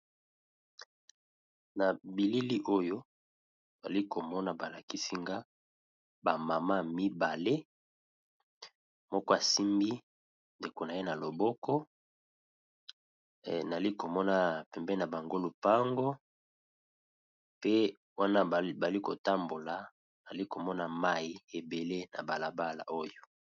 Nabilili oyo nazalikomona balakisinga ba maman mibale moko asimbi ndeko naye na loboko nazalikomona pembeni nabango lopango pe wana bazalikotambula nazali komona mayi mingi na balabala oyo.